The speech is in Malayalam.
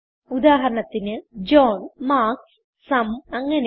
ഉദാഹരണത്തിന് ജോഹ്ൻ മാർക്ക്സ് സും അങ്ങനെ